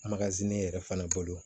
ne yɛrɛ fana bolo